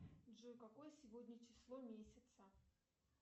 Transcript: джой какое сегодня число месяца